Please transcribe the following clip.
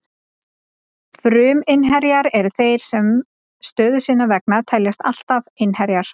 Fruminnherjar eru þeir sem stöðu sinnar vegna teljast alltaf innherjar.